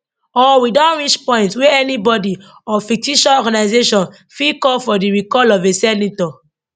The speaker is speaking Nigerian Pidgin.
or we don reach point wey anybody or fictitious organization fit call for di recall of a senator